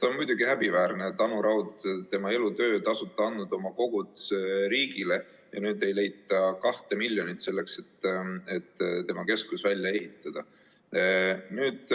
On muidugi häbiväärne, et Anu Raud on teinud oma elutöö ja tasuta andnud oma kogud riigile, aga nüüd ei leita 2 miljonit selleks, et tema keskus välja ehitada.